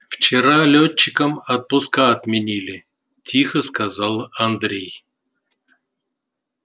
вчера лётчикам отпуска отменили тихо сказал андрей